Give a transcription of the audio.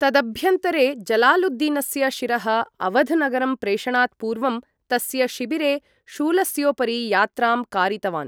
तदभ्यन्तरे, जलालुद्दीनस्य शिरः अवध् नगरं प्रेषणात् पूर्वं, तस्य शिबिरे शूलस्योपरि यात्रां कारितवान्।